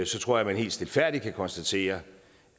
tror jeg man helt stilfærdigt kan konstatere